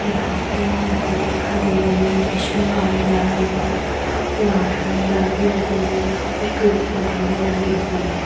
यहाँ पे एक नदी दिखाई दे रही है जिसमे पानी भरा हुआ है और वहाँ पर घास वगेरा भी उगी हुई है और कुछ पेड़ पौधे भी लगे हुए हैं ।